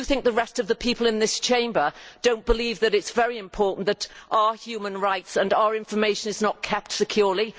Do you think the rest of the people in this Chamber do not believe that it is very important that our human rights and our information is not kept securely?